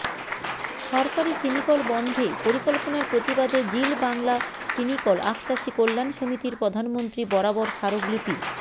সরকারী চিনিকল বন্ধে পরিকল্পনার প্রতিবাদে জিল বাংলা চিনিকল আখচাষীকল্যাণ সমিতির প্রধানমন্ত্রী বরাবর স্মারকলিপি